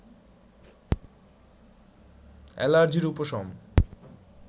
অ্যালার্জির উপশম